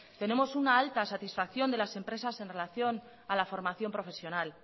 tenemos una alta satisfacción de las empresas en relación a la formación profesional